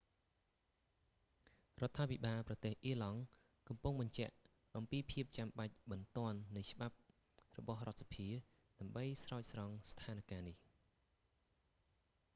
រដ្ឋាភិបាលប្រទេសអៀរឡង់ កំពុងបញ្ជាក់អំពីភាពចាំបាច់បន្ទាន់នៃច្បាប់របស់រដ្ឋសភា ដើម្បីស្រោចស្រង់ស្ថានការណ៍នេះ